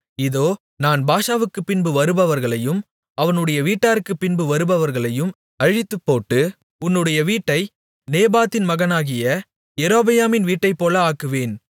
இதோ நான் பாஷாவுக்கு பின்பு வருபவர்களையும் அவனுடைய வீட்டாருக்கு பின்பு வருபவர்களையும் அழித்துப்போட்டு உன்னுடைய வீட்டை நேபாத்தின் மகனாகிய யெரொபெயாமின் வீட்டைப்போல ஆக்குவேன்